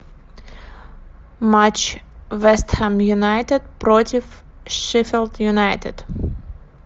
матч вест хэм юнайтед против шеффилд юнайтед